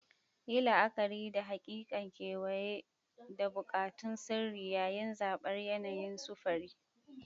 Yi la'akari da haƙiƙa, kewaye, da buƙatun sirri yayin zabar yanayin sufuri.